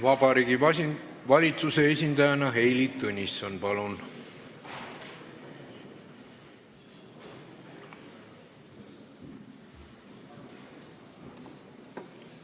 Vabariigi Valitsuse esindajana Heili Tõnisson, palun!